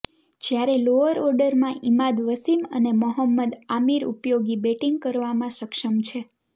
જ્યારે લોઅર ઓર્ડરમાં ઇમાદ વસીમ અને મોહંમદ આમિર ઉપયોગી બેટિંગ કરવામાં સક્ષમ છે